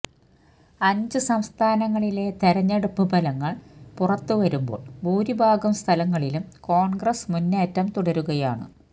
അഞ്ച് സംസ്ഥാനങ്ങളിലെ തെരഞ്ഞെടുപ്പ് ഫലങ്ങൾ പുറത്തു വരുമ്പോൾ ഭൂരിഭാഗം സ്ഥലങ്ങളിലും കോണ്ഗ്രസ് മുന്നേറ്റം തുടരുകയാണ്